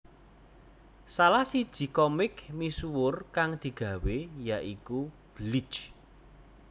Salah siji komik misuwur kang digawé ya iku Bleach